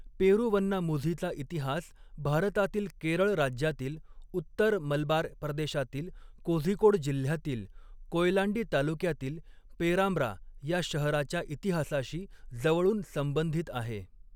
पेरुवन्नामुझीचा इतिहास भारतातील केरळ राज्यातील उत्तर मलबार प्रदेशातील कोझिकोड जिल्ह्यातील कोयलांडी तालुक्यातील पेरांब्रा या शहराच्या इतिहासाशी जवळून संबंधित आहे.